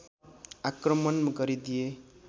आक्रमण गरिदिए